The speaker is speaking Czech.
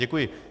Děkuji.